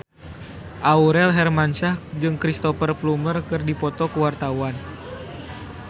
Aurel Hermansyah jeung Cristhoper Plumer keur dipoto ku wartawan